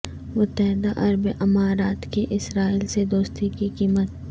متحدہ عرب امارات کی اسرائیل سے دوستی کی قیمت